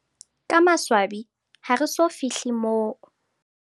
Ka maswabi, ha re so fi hle moo.